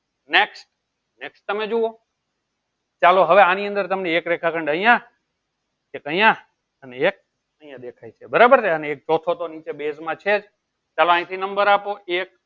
nextnext તમે જુવો ચાલો હવે આની અંદર એક રેખા ખંડ અયીયા એક અયીયા અને એક દેખાય છે બરાબર ને ચૌથો તો નીચે base માં છેજ ને ચાલો યી થી number આપો એક